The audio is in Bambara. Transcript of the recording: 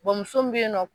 muso min bɛ yen nɔ